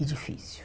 E difícil.